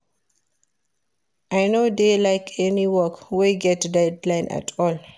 I no dey like any work wey get deadline at all